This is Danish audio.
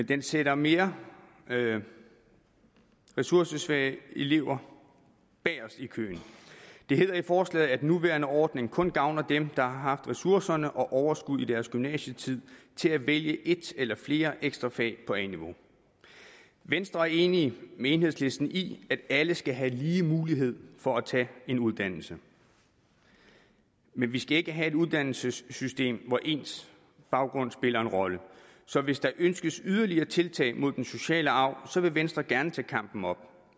den sætter mere mere ressourcesvage elever bagest i køen det hedder i forslaget at den nuværende ordning kun gavner dem der har haft ressourcer og overskud i deres gymnasietid til at vælge et eller flere ekstra fag på a niveau venstre er enig med enhedslisten i at alle skal have lige mulighed for at tage en uddannelse men vi skal ikke have et uddannelsessystem hvor ens baggrund spiller en rolle så hvis der ønskes yderligere tiltag mod den sociale arv vil venstre gerne tage kampen op